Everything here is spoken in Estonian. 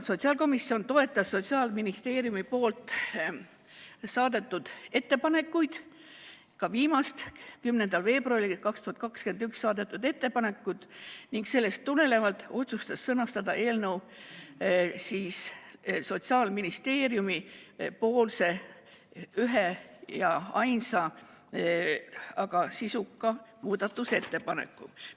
Sotsiaalkomisjon toetas Sotsiaalministeeriumi saadetud ettepanekuid, ka viimast, tänavu 10. veebruaril saadetud ettepanekut, ning sellest tulenevalt otsustas sõnastada eelnõu ühe ja ainsa, aga sisuka muudatusettepaneku sellisena, nagu Sotsiaalministeerium pakkus.